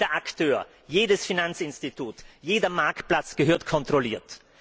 Jeder Akteur, jedes Finanzinstitut, jeder Marktplatz gehört kontrolliert.